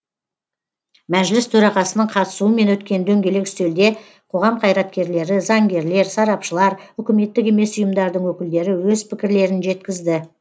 мәжіліс төрағасының қатысуымен өткен дөңгелек үстелде қоғам қайраткерлері заңгерлер сарапшылар үкіметтік емес ұйымдардың өкілдері өз пікірлерін жеткізді